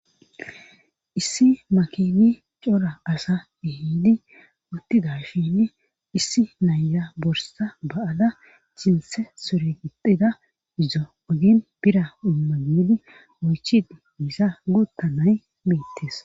Issi makini cora asa ihidi uttida shini issi naya borsa ba7ala cinse soregixida izo ogin bira ummagedi oychid misa guttanay miittes.